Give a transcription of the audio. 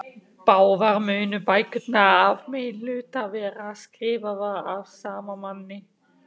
Báðar munu bækurnar að meginhluta vera skrifaðar af sama manni.